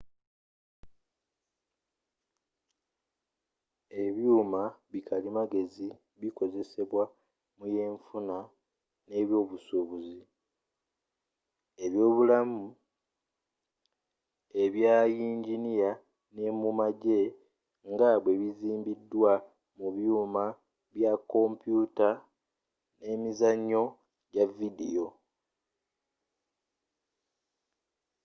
ebyuma bi kalimagezi bikozzesebwa mu yenfuna n'obusubuzi ebyobulamu ebya yinginiya ne mu magye nga bwebizimbiddwa mu byuma bya komputa n'emizanyo gya vidiyo